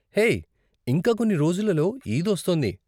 Hey, ఇంకా కొన్ని రోజులలో ఈద్ వస్తోంది.